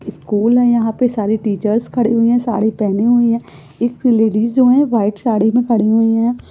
School है यहां पे सारी टीचर्स खड़ी हुई है साड़ी पहनी हुई है एक लेडिज़ जो हैं वाइट साड़ी पहनी खड़ी हुई हैं ।